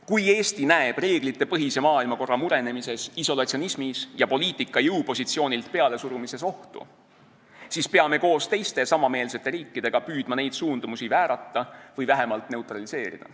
Kui Eesti näeb reeglitepõhise maailmakorra murenemises, isolatsionismis ja poliitika jõupositsioonilt pealesurumises ohtu, siis peame koos teiste samameelsete riikidega püüdma neid suundumusi väärata või vähemalt neutraliseerida.